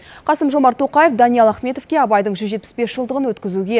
қасым жомарт тоқаев даниал ахметовке абайдың жүз жетпіс бес жылдығын өткізуге